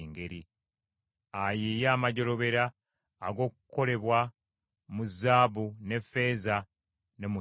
ayiiye amajjolobera ag’okukolebwa mu zaabu ne ffeeza ne mu kikomo;